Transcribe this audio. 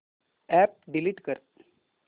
app delete कर